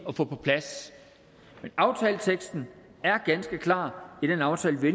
at få på plads men aftaleteksten er ganske klar i den aftale vi